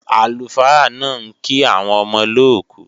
Àlùfáà náà ń kí àwọn ọmọ olóòkú